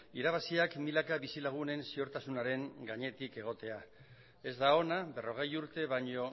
irabaziak milaka bizilagunen ziurtasunaren gainetik egotea ez da ona berrogei urte baino